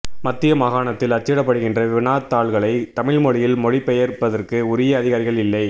மத்திய மாகாணத்தில் அச்சிடப்படுகின்ற வினாத்தாள்களை தமிழ் மொழியில் மொழிபெயர்ப்பதற்கு உரிய அதிகாரிகள் இல்லை